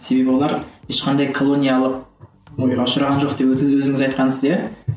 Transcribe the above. себебі олар ешқандай колониялық ұшыраған жоқ деп өзіңіз айтқансыз иә